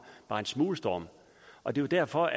bare en smule storm og det er derfor